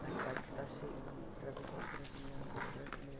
Mas Paris está cheio de travesti brasiliano brasileiro.